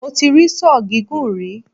Mo ti rí Sọ́ọ̀ gígùn rí.